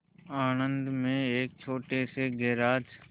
आणंद में एक छोटे से गैराज